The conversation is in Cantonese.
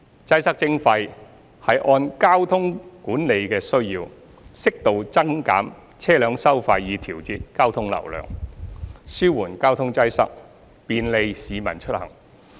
"擠塞徵費"是按交通管理的需要，適度增減車輛收費以調節交通流量，紓緩交通擠塞，便利市民出行。